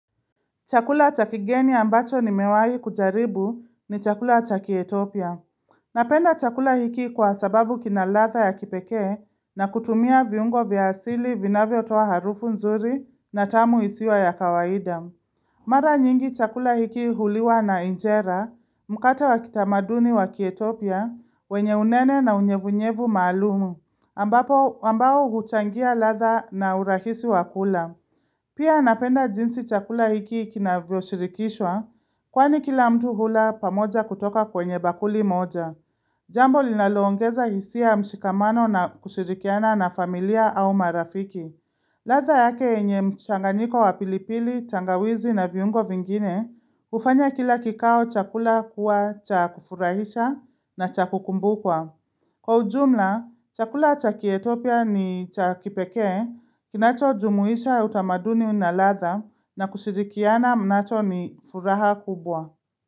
Chakula cha kigeni ambacho nimewahi kujaribu ni chakula cha kietopia. Napenda chakula hiki kwa sababu kina ladha ya kipekee na kutumia viungo vya asili vinavyotoa harufu nzuri na tamu isio ya kawaida. Mara nyingi chakula hiki huliwa na injera, mkate wa kitamaduni wa kietopia, wenye unene na unyevunyevu maalum, ambapo ambao huchangia ladha na urahisi wa kula. Pia napenda jinsi chakula hiki kinavyoshirikishwa, kwani kila mtu hula pamoja kutoka kwenye bakuli moja. Jambo linaloongeza hisia ya mshikamano na kushirikiana na familia au marafiki. Ladha yake yenye mchanganiko wa pilipili, tangawizi na viungo vingine, hufanya kila kikao chakula kuwa cha kufurahisha na cha kukumbukwa. Kwa ujumla, chakula cha kietopia ni cha kipekee, kinachojumuisha utamaduni na ladha na kusirikiana mnacho ni furaha kubwa.